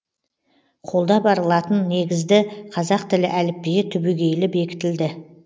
қолда бар латын негізді қазақ тілі әліпбиі түбегейлі бекітілді